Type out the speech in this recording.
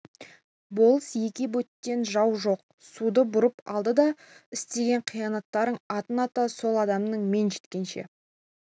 болыс-еке бөтен жау жоқ суды бұрып алды деп істеген қиянаттарың атын ата сол адамның мен жеткенше